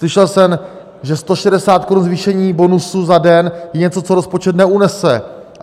Slyšel jsem, že 160 korun zvýšení bonusu za den je něco, co rozpočet neunese.